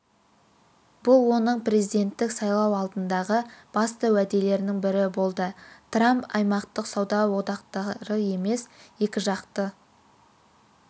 бұл оның президенттік сайлау алдындағы басты уәделердің бірі болды трамп аймақтық сауда одақтары емес екіжақты